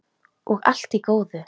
Og allt í góðu.